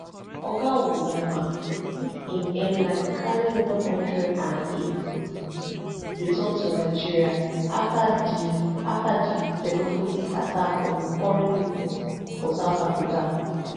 oga onyeama use im airline carri one hundred and eighty-eight pipo return to nigeria afta di afta di xenophobic attack on foreign business for south africa